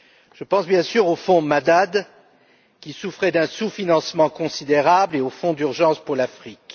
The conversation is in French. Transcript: Je pense bien sûr au fonds Madad qui souffrait d'un sous financement considérable et au fonds d'urgence pour l'Afrique.